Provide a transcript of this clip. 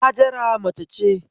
Hajara mace ce